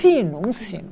Sino, um sino.